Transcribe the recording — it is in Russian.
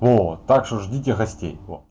вот так что ждите гостей вот